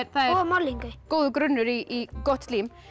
góður grunnur í gott slím